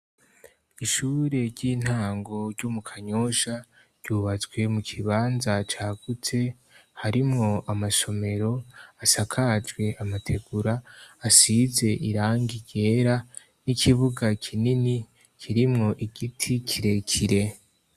Ishure ry'intango ryo mu Kanyosha ryubatswe mu kibanza cagutse harimo amasomero asakajwe amategura asize irangi yera n'ikibuga kinini kirimwo igiti kirekire.